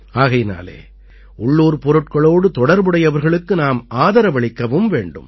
ஆகையினாலே உள்ளூர் பொருட்களோடு தொடர்புடையவர்களுக்கு நாம் ஆதரவளிக்கவும் வேண்டும்